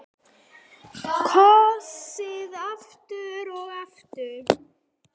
Kosið aftur og aftur?